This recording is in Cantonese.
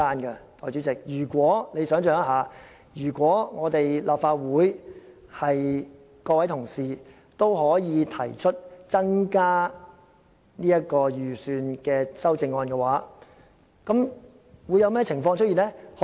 代理主席，如果立法會議員可以提出增加預算的修正案，會出現甚麼情況呢？